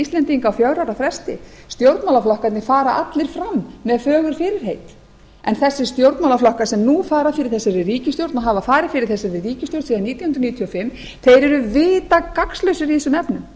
íslendinga á fjögra ára fresti stjórnmálaflokkarnir fara allir fram með fögur fyrirheit en þessir stjórnmálaflokkar sem nú fara fyrir þessari ríkisstjórn og hafa farið fyrir þessari ríkisstjórn síðan nítján hundruð níutíu og fimm eru vita gagnslausir í þessum efnum